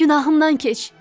Günahımdan keç.